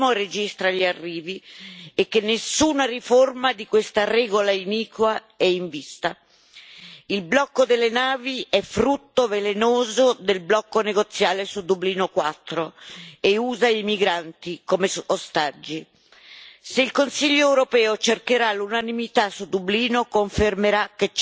e che nessuna riforma di questa regola iniqua è in vista. Il blocco delle navi è frutto velenoso del blocco negoziale su Dublino IV e usa i migranti come ostaggi. Se il Consiglio europeo cercherà l'unanimità su Dublino, confermerà che c'è del marcio nell'Unione.